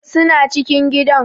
Suna cikin gidan.